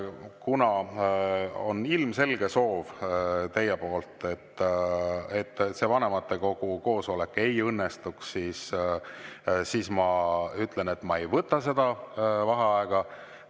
Kuna teil on ilmselge soov, et vanematekogu koosolek ei õnnestuks, siis ma ütlen, et ma ei võta seda vaheaega.